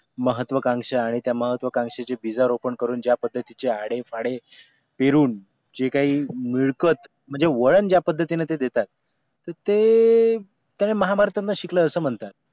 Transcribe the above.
महत्वकांक्षा आणि त्या महत्वकांक्षेच्या भिजा रोपण करून ज्या पद्धतीचे आडेफाडे पेरून जे काही मिळकत म्हणजे वळण ज्या पद्धतीने ते देतायत तर ते ते महाभारतातून शिकले असे म्हणतात